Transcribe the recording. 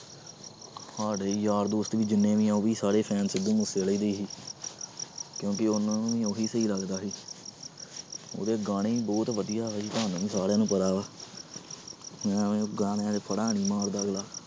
ਸਾਡੇ ਯਾਰ ਦੋਸਤ ਵੀ ਜਿੰਨੇ ਵੀ ਆ ਉਹ ਵੀ ਸਾਰੇ fan ਸਿੱਧੂ ਮੂਸੇਵਾਲੇ ਦੇ ਹੀ ਕਿਉਂਕਿ ਉਹਨਾਂ ਨੂੰ ਵੀ ਉਹੀ ਸਹੀ ਲੱਗਦਾ ਸੀ ਉਹਦੇ ਗਾਣੇ ਹੀ ਬਹੁਤ ਵਧੀਆ ਵੀ ਤੁਹਾਨੂੰ ਵੀ ਸਾਰਿਆਂ ਨੂੰ ਪਤਾ ਵਾ ਐਵੇਂ ਗਾਣਿਆਂ ਤੇ ਫੜਾਂ ਨੀ ਮਾਰਦਾ ਅਗਲਾ।